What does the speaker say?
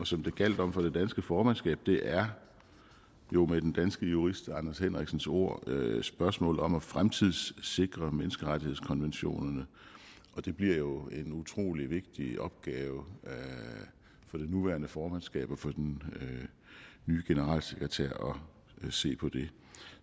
som det gjaldt om for det danske formandskab er jo med den danske jurist anders henriksens ord spørgsmålet om at fremtidssikre menneskerettighedskonventioner det bliver jo en utrolig vigtig opgave for det nuværende formandskab og den nye generalsekretær at se på det